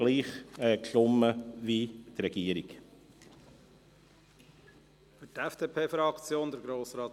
Andernfalls hätten wir gleich abgestimmt wie die Regierung.